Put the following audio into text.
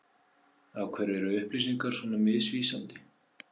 Af hverju er upplýsingar svona misvísandi?